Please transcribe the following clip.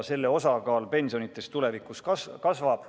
Selle osakaal pensionides tulevikus kasvab.